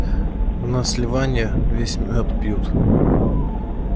на сливанье весь мёд пьют